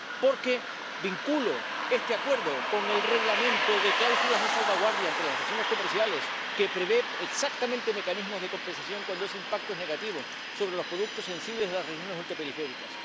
Porque vinculo este acuerdo con el Reglamento de cláusulas de salvaguardia entre las relaciones comerciales, que prevé exactamente mecanismos de compensación cuando ese impacto es negativo para los productos sensibles de las regiones ultraperiféricas.